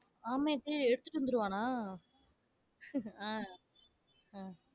ஆமைய போய் எடுத்துட்டு வந்திருவானா? அஹ் உம்